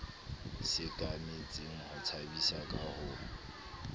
sekametseng ho tshabiseng ka ho